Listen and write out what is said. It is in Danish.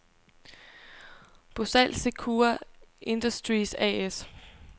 Bosal Sekura Industries A/S